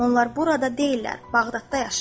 Onlar burada deyillər, Bağdadda yaşayırlar.